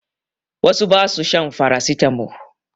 Wasu ba su shan farasitamo.